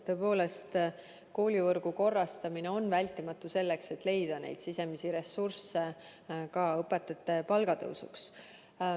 Tõepoolest, koolivõrgu korrastamine on vältimatu, et leida sisemisi ressursse õpetajate palgatõusuks.